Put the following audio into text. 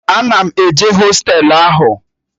Ana m eje hostelu ahụ